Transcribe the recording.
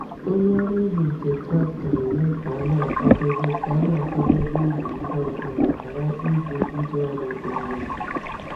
Onye ọrụ ubi nke traktọ na-eme ka a na-akwadebe ka a na-akwadebe ubi ngwa ngwa ma ghara ịgwụ ndị ọrụ ugbo.